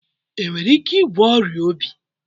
Enwere ike ịgwọ ọrịa obi?